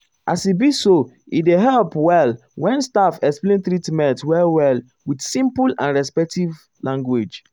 as e be so e dey help well when staff explain treatment well well with simple and respectful language.